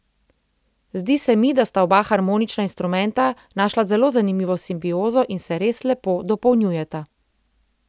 Zdi se mi, da sta oba harmonična instrumenta našla zelo zanimivo simbiozo in se res lepo dopolnjujeta.